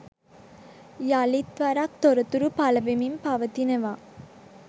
යලිත්වරක් තොරතුරු පලවෙමින් පවතිනවා.